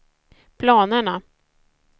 planerna